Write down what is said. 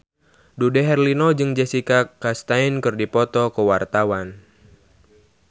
Dude Herlino jeung Jessica Chastain keur dipoto ku wartawan